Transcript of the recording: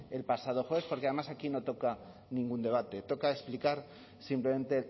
el pasado jueves porque además aquí no toca ningún debate toca explicar simplemente